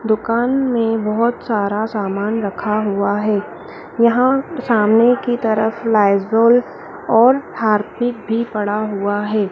दुकान में बहोत सारा सामान रखा हुआ है। यहां सामने की तरफ लाईजोल और हार्पिक भी पड़ा हुआ है।